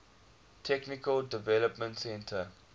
technical development center